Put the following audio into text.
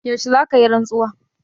Yaushe za ka yi rantsuwa?